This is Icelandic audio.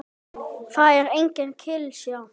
Það er engin klisja.